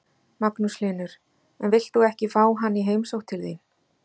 Magnús Hlynur: En villt þú ekki fá hann í heimsókn til þín?